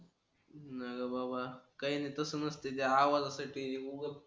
नाही रे बाबा काही नाही तसच असते ते आवाज काही तरी हून